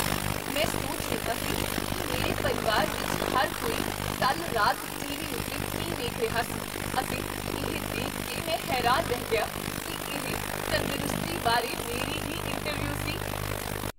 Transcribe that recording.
ਮੈਂ ਸੋਚ ਰਿਹਾ ਸੀ ਕੀ ਮੇਰੇ ਪਰਿਵਾਰ ਵਿੱਚ ਹਰ ਕੋਈ ਕੱਲ੍ਹ ਰਾਤ ਟੀਵੀ ਉੱਤੇ ਕੀ ਦੇਖ ਰਿਹਾ ਸੀ ਅਤੇ ਇਹ ਦੇਖ ਕੇ ਮੈਂ ਹੈਰਾਨ ਰਹਿ ਗਿਆ ਕੀ ਇਹ ਤੰਦਰੁਸਤੀ ਬਾਰੇ ਮੇਰੀ ਹੀ ਇੰਟਰਵਿਊ ਸੀ!